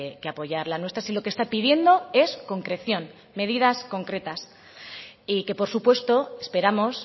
que apoyar la nuestra si lo que está pidiendo es concreción medidas concretas y que por supuesto esperamos